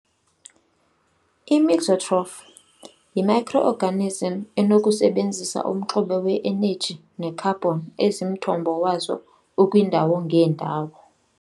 I-mixotroph yi-micro organism enokusebenzisa umxube we-energy ne-carbon ezimthombo wazo ukwindawo ngeendawo.